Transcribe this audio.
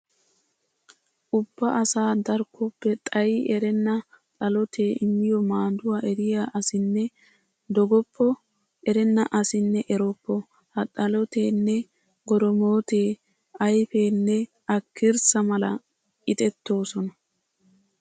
Ubba asaa darkkoppe xayi erenna xalotee immiyo maaduwa eriya asinne dogoppo, erenna asinne eroppo! Ha xaloteenne goromootee ayfenne akkirssa mala ixettoosona.